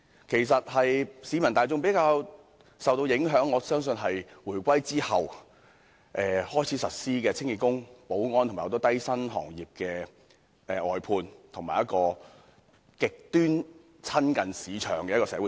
其實，我相信令市民大眾較受影響的是回歸後開始實施的清潔工、保安及眾多低薪工種的外判，以及一種極端親近市場的社會政策。